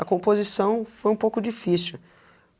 A composição foi um pouco difícil.